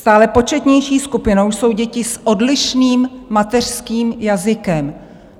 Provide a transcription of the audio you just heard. Stále početnější skupinou jsou děti s odlišným mateřským jazykem."